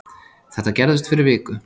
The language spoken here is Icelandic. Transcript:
Þetta gerðist fyrir viku